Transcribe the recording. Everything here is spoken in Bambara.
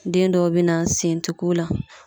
Den dɔw be na, sen te k'u la.